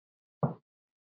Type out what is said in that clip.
Það var svo margt.